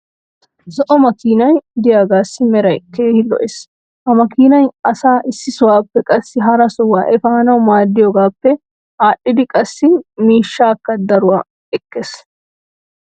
zo"o makkiinay diyaagassi meray keehi lo'ees. ha makkiinay asaa issi sohuwaappe qassi hara sohuwaa efaanawu maadiyoogaappe aadhidi qassi miishshaakka daruwaa ekkees.